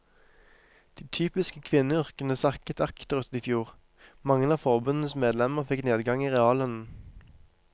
De typiske kvinneyrkene sakket akterut i fjor, mange av forbundets medlemmer fikk nedgang i reallønnen.